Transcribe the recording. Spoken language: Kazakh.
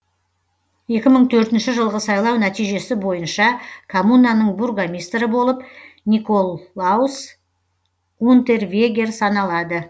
екі мың төртінші жылғы сайлау нәтижесі бойынша коммунаның бургомистрі болып николаус унтервегер саналады